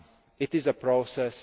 It is a process.